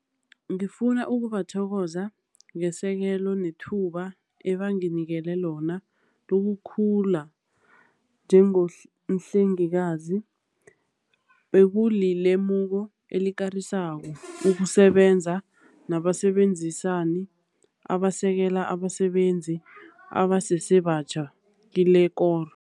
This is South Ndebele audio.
Ngifuna ukubathokoza ngesekelo nethuba eba nginikele lona lokukhula njengomhlengikazi. Bekuli lemuko elikarisako ukusebenza nabasebenzisani abasekela abasebenzi abasesebatjha kilekoro.